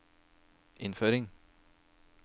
innføring